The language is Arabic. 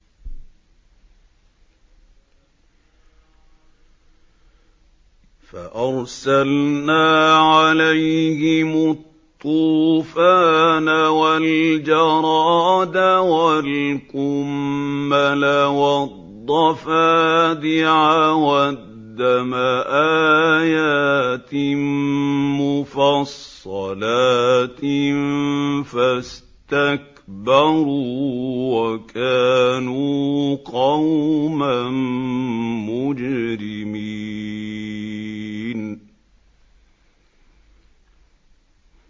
فَأَرْسَلْنَا عَلَيْهِمُ الطُّوفَانَ وَالْجَرَادَ وَالْقُمَّلَ وَالضَّفَادِعَ وَالدَّمَ آيَاتٍ مُّفَصَّلَاتٍ فَاسْتَكْبَرُوا وَكَانُوا قَوْمًا مُّجْرِمِينَ